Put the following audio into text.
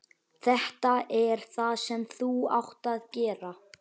Þetta er það sem þú átt að gera.